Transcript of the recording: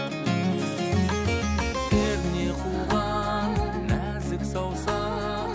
перне қуған нәзік саусақ